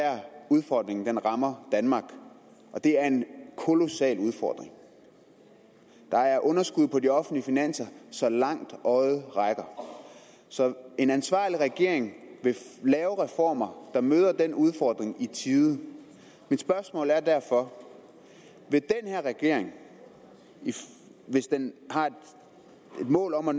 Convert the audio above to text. udfordringen rammer danmark og det er en kolossal udfordring der er underskud på de offentlige finanser så langt øjet rækker så en ansvarlig regering vil lave reformer der møder den udfordring i tide mit spørgsmål er derfor vil den her regering hvis den har et mål om at